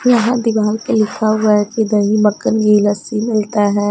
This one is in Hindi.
यहाँ दीवार पे लिखा हुए हैं की दही मक्खन घी लस्सी मिलता हैं।